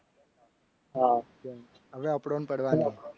હા હવે આપણો ને પડવાની.